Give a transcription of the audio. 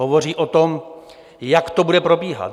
Hovoří o tom, jak to bude probíhat.